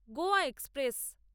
Goa express